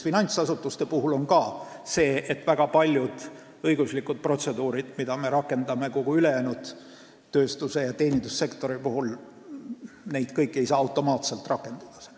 Finantsasutuste puhul on ka nii, et väga paljusid õiguslikke protseduure, mida me rakendame kogu ülejäänud tööstus- ja teenindussektori puhul, ei saa seal automaatselt rakendada.